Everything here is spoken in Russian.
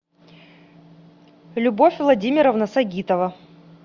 любовь владимировна сагитова